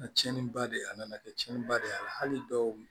Na tiɲɛni ba de a nana kɛ tiɲɛniba de y'ala hali dɔw